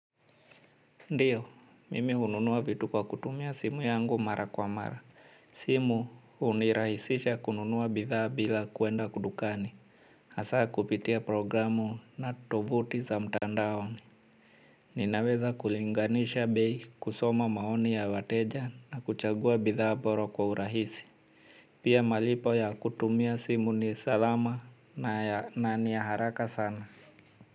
Ndiyo mimi hununua vitu kwa kutumia simu yangu mara kwa mara simu hunirahisisha kununua bidhaa bila kuenda dukani hasaa kupitia programu na tovuti za mtandaoni ninaweza kulinganisha bei kusoma maoni ya wateja na kuchagua bidhaa bora kwa urahisi pia malipo ya kutumia simu ni salama na ya na ni ya haraka sana.